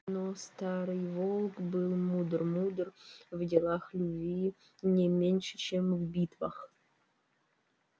но старый волк был мудр мудр в делах любви не меньше чем в битвах